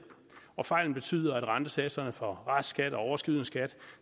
og fejlen betyder at rentesatserne for restskat og overskydende skat